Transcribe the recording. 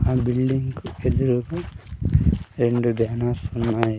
ఆ బిల్డింగ్స్ ఎదురుగ రెండు బ్యానర్ ఉన్నాయి.